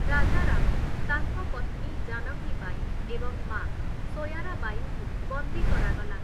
ରାଜାରାମ, ତାଙ୍କ ପତ୍ନୀ ଜାନକୀ ବାଈ ଏବଂ ମାଆ ସୋୟାରାବାଇଙ୍କୁ ବନ୍ଦୀ କରାଗଲା ।